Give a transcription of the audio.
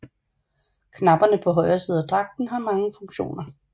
Knapperne på højre side af dragten har mange funktioner